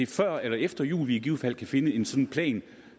før eller efter jul vi i givet fald kan finde en sådan plan